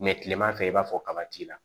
kilema fɛ i b'a fɔ kaba t'i la